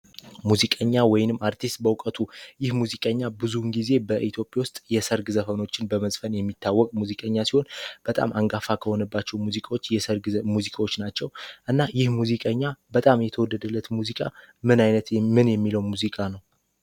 ሙዚቀኛ ወይም አርቲስት በእውቀቱ ይህ ሙዚቀኛ ጊዜ በኢትዮጵያ ውስጥ የሰርግ ዘፈኖችን በመስን የሚታወቅ ሙዚቀኛ ሲሆን በጣም አንፋፋ ከሆነባቸው ሙዚቃዎች የሰርግ ሙዚቃዎች ናቸው እና የሙዚቀኛ በጣም የተወደደለት ሙዚቃ ምን አይነት ምን የሚለው ሙዚቃ ነው